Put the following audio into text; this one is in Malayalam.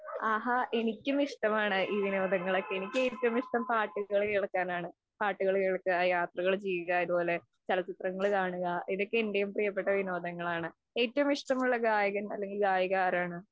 ആഹാ, എനിക്കും ഇഷ്ടമാണ് ഈ വിനോദങ്ങളൊക്കെ. എനിക്ക് ഏറ്റവും ഇഷ്ടം പാട്ടുകൾ കേൾക്കാനാണ്. പാട്ടുകൾ കേൾക്കുക, യാത്രകൾ ചെയ്യുക, ഇതുപോലെ ചലച്ചിത്രങ്ങൾ കാണുക. ഇതൊക്കെ എൻ്റെയും പ്രിയപ്പെട്ട വിനോദങ്ങളാണ്. ഏറ്റവും ഇഷ്ടമുള്ള ഗായകൻ അല്ലെങ്കിൽ ഗായിക ആരാണ്?